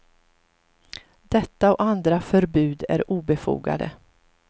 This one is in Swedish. Detta och andra förbud är obefogade.